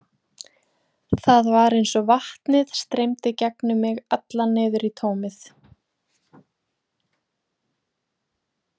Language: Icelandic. Það var eins og vatnið streymdi gegnum mig allan niður í tómið.